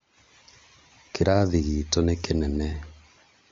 Kĩrathi gitũ nĩ kĩnene